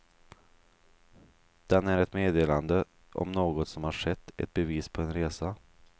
Den är ett meddelande om något som har skett, ett bevis på en resa.